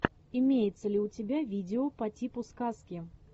имеется ли у тебя видео по типу сказки